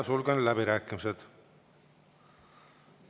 Sulgen läbirääkimised.